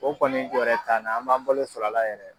O kɔni jɔrɛ t'an na an b'an balo sɔrɔ a la yɛrɛ.